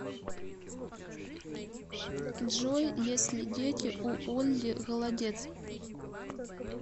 джой есть ли дети у ольги голодец